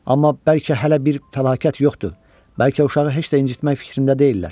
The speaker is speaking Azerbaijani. Amma bəlkə hələ bir fəlakət yoxdur, bəlkə uşağı heç də incitmək fikrində deyillər.